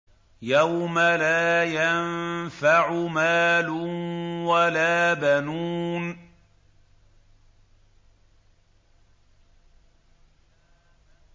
يَوْمَ لَا يَنفَعُ مَالٌ وَلَا بَنُونَ